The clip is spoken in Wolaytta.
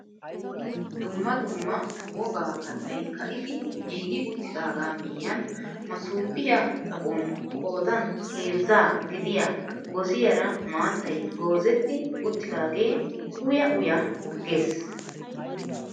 Dumma dumma wogaa kattay ka'idi giigi uttidagaa miyiyaan masoopiyaa xaphon qoodan heezzaa gidiyaa gosiyaara maattay goozetti uttidaagee uya uya ges!